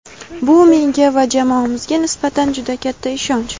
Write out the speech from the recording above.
Bu — menga va jamoamizga nisbatan juda katta ishonch.